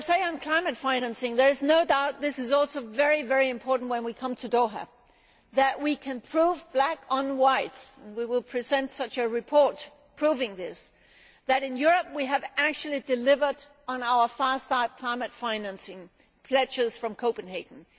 Can I say on climate financing there is no doubt that it is also very important when we come to Doha that we can prove in black and white and we will present such a report proving this that in Europe we have actually delivered on our fast start climate financing pledges from Copenhagen.